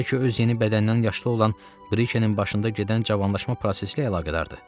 Bəlkə öz yeni bədəndən yaşlı olan Brikenin başında gedən cavanlaşma prosesi ilə əlaqədardır?